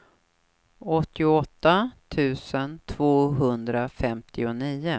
åttioåtta tusen tvåhundrafemtionio